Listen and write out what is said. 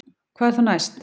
Hvað er þá næst